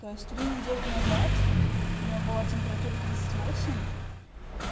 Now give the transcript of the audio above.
то есть три недели назад у неё была температура тридцать восемь